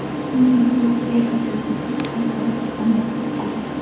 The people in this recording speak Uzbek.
Chimkentdagi to‘y kortejiga vertolyot hamrohlik qildi .